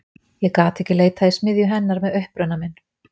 Ég gat ekki leitað í smiðju til hennar með uppruna minn.